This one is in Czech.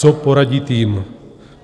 Co poradit jim?